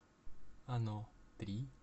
оно три